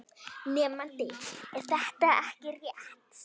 Nemandi: Er þetta ekki rétt?